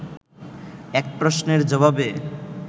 এক প্রশ্নের জবাবে